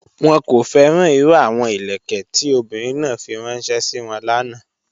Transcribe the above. Wọ́n kò fẹ́ràn irú àwọn ilẹ̀kẹ̀ tó ọ̀bìnrin náà fí ránṣẹ̀ sí wọ́n lána.